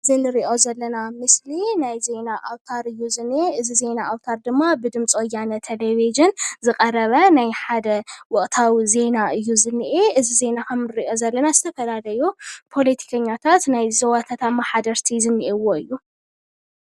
እዚ እንሪኦ ዘለና ምስሊ ናይ ዜና ኣውታር እዩ ዝኒሄ፡፡ እዚ ናይ ዜና ኣውታር ድማ ብድምፂ ወያነ ቴሌቪዥን ዝቐረበ ናይ ሓደ ወቕታዊ ዜና እዩ ዝኒኤ፡፡ እዚ ዜና ከምንሪኦ ዘለና ዝተፈላለዩ ፖለቲከኛታት ናይ ዞባታት ኣማሓደርቲ ዝኒኤውዎ እዩ፡፡